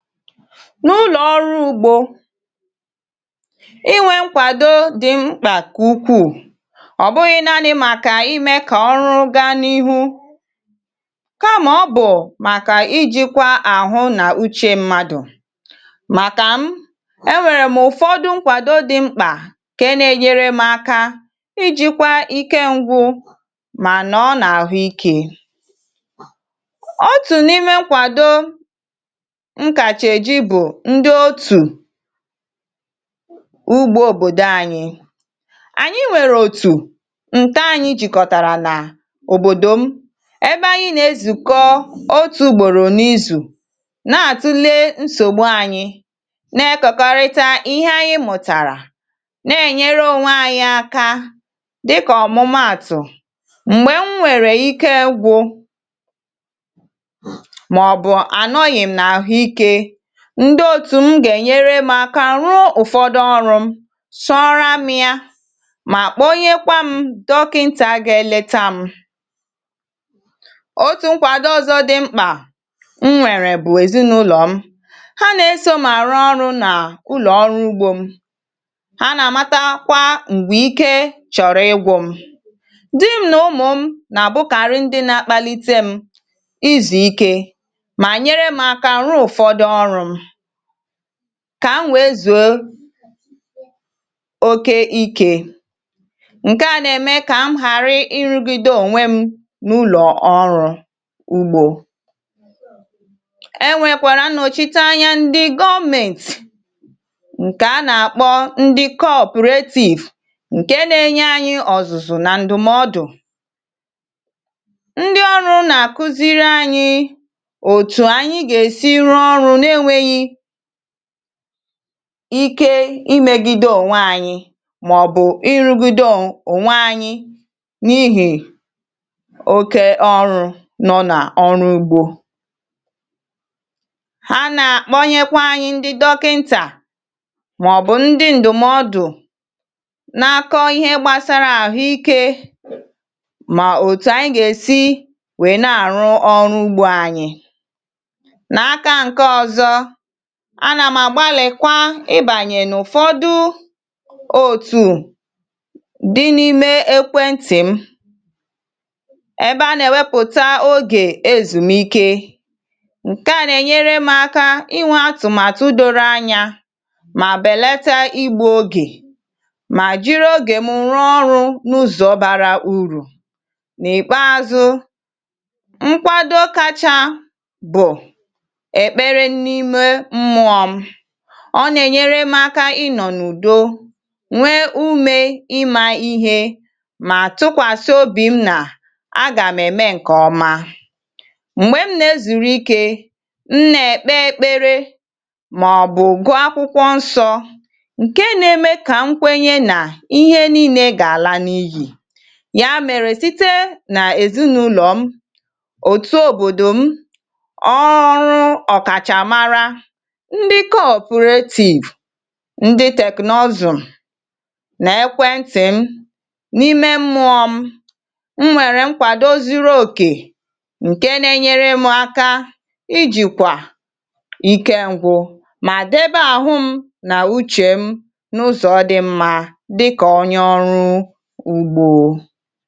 N’ụlọ̀ ọrụ ugbȯ, inwė nkwàdo dị mkpà nku ukwuù. Ọ bụghị̇ naanị̇ màkà imė kà ọrụ gaa n’ihu kamà ọ bụ̀ màkà ijikwa àhụ nà uchė mmadụ̀. Màkà m, enwèrè m ụ̀fọdụ nkwàdo dị mkpà nke na-enyere m aka ijikwa ike ngwụ mà nọ nà àhụ ikė. Otu nime nkwado m ka ji eji bụ ndị otù ugbȯ òbòdò anyiị. Anyị nwèrè òtù ǹka anyị jìkọ̀tàrà nà òbòdò m ebe anyị nà-ezùkọ otù ugbòrò n’izù na-àtụlee nsògbu anyị na-ekekọrịta ihe anyị mụ̀tàrà na-ènyere onwe ànyị aka dịkà ọ̀mụmàtụ̀: m̀gbè m nwèrè ike gwụ̇ mọbụ anọghị m nahụike, ndị otù m gà-ènyere m aka rụọ ụ̀fọdụ ọrụ̇ m, sọọrọ m ya mà kpọnyekwa m dọkịntà gịe èleta m. Otù nkwàdo ọzọ dị mkpà m nwèrè bụ̀ èzinaụlọ̀ m, ha na-eso mà àrụ ọrụ̇ nà ụlọ̀ ọrụ ugbȯ m, ha nà-àmata kwà m̀gbè ike chọ̀rọ̀ ịgwụ m. Dị́ m nà ụmụ̀ m nà-àbụkàrị ndị na-akpalite m izù ike ma nyere m aka rụọ ụfọdụ̀ ọrụ m kà m wèe zùo oke ikė. Nke nà-ème kà m ghàrị rụgide onwe m n’ụlọ̀ ọrụ ugbȯ. E nwèkwàrà nnọchiteanya ndị gọọmentì ǹkè a nà-àkpọ ndị cooperative ǹke na-enye anyị ọ̀zụ̀zụ̀ nà ndụ̀mọdụ̀. Ndi ọrụ nà-àkụziri anyị otu anyị gesi rụọ ọrụ nenweghị ike imėgide ònwe ànyị màọ̀bụ̀ ịrụgido ònwe ànyị n’ihì oke ọrụ nọ na ọrụ ugbȯ. Ha nà-àkpọnyekwa anyị ndị dọkịntà màọ̀bụ̀ ndị ǹdụ̀mọdụ̀ na-akọ̇ ihe gbasara àhụ ikė mà òtù ànyị gà-èsi wèe na-àrụ ọrụ ugbȯ ànyị. N'aka nke ọzọ, ana m à gbalịkwa ịbànyè n’ụ̀fọdụ òtù dị n’ime ekwentị m ebe a nà-wepụ̀ta ogè ezùmike. Nkèa nà-enyere m aka inwė atụ̀màtụ doro anya mà bèlata igbu ogè mà jiri ogè m rụọ ọrụ̇ n’ụzọ̀ bara urù. N’ìkpeazụ̇, nkwado kacha bụ̀ ekpere ime mmụọ m, ọ nà-ènyere m aka ị nọ̀ n'udo nwee umė ịmȧ ihe mà tụkwàsị obì m nà agà m̀ ème ǹkè ọma. Mgbè m na-ezùrù ike, m nà-èkpe ekpere màọ̀bụ̀ gụọ akwụkwọ nsọ̇ ǹke na-eme kà nkwenye nà ihe nii̇nė gà-àla n’iyì. Ya mèrè site nà èzinụlọ̀ m, òtù òbòdò m, ọrụ ọ̀kàchàmara, ndị cooperative, ndị teknọzụ̀, na ekwentị̀ m, n’ime mmụọ̇ m, m nwere nkwado zuru okè ṅ̀ke na-enyere m aka ijikwà ike ngwụ̇ mà debe àhụ m nà uchè m n’ụzọ̀ dị mmȧ dịkà onye ọrụ ụ̀gbọ.